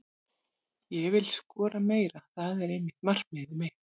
Ég vil skora meira, það er einnig markmiðið mitt.